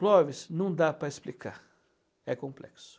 Clóvis, não dá para explicar, é complexo.